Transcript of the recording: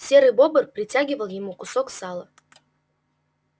серый бобр притягивал ему кусок сала